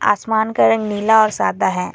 आसमान का रंग नीला और सादा है।